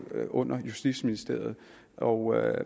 under justitsministeriet og